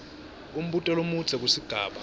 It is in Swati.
umbuto lomudze kusigaba